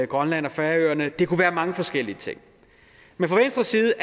grønland og færøerne det kunne være mange forskellige ting men fra venstres side